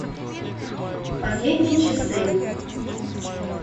последние часы